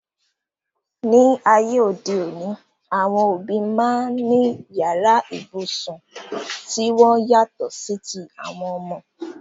Ní ayé òde òní, àwọn òbí máa ń ní yàrá ibùsùn ti wọn yàtọ̀ sí ti àwọn ọmọ.